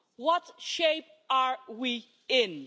What shape are we in?